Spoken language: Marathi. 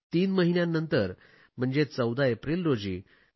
तीन महिन्यांनंतर 14 एप्रिल रोजी डॉ